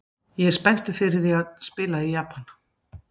Ég er spenntur fyrir því að spila í Japan.